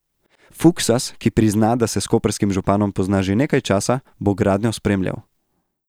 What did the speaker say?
Fuksas, ki prizna, da se s koprskim županom pozna že nekaj časa, bo gradnjo spremljal.